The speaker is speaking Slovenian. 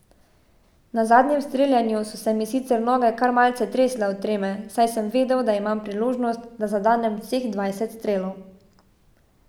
Na zadnjem streljanju so se mi sicer noge kar malce tresle od treme, saj sem vedel, da imam priložnost, da zadenem vseh dvajset strelov.